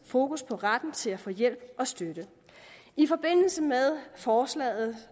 fokus på retten til at få hjælp og støtte i forbindelse med forslaget